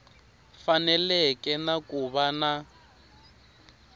faneleke na ku va na